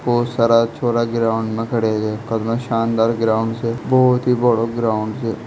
बहुत सारा छोरा ग्राउंड में खड़ेया छे कितना शानदार ग्राउंड स बहुत ही बड़ा ग्राउंड स।